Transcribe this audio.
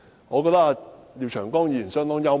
我覺得廖長江議員相當幽默。